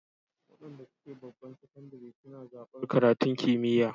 Waɗanda suke babban sakandire suna zaɓar karatun kimiyya